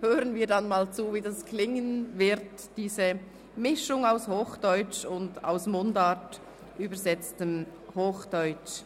Wir werden hören, wie diese Mischung zwischen Hochdeutsch und aus Mundart übersetztem Hochdeutsch